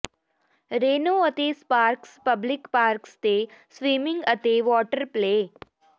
Reno ਅਤੇ Sparks public parks ਤੇ swimming ਅਤੇ ਵਾਟਰ ਪਲੇਅ